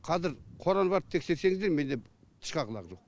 қазір қораны барып тексерсеңіздер менде тышқақ лақ жоқ